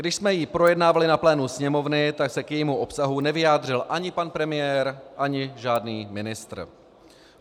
Když jsme ji projednávali na plénu Sněmovny, tak se k jejímu obsahu nevyjádřil ani pan premiér ani žádný ministr.